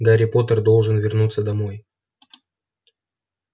гарри поттер должен вернуться домой